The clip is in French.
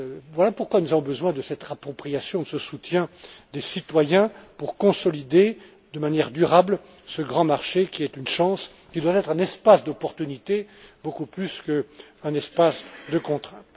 Voilà pourquoi nous avons besoin de cette appropriation, de ce soutien des citoyens pour consolider de manière durable ce grand marché, qui est une chance, qui doit être un espace d'opportunité beaucoup plus qu'un espace de contrainte.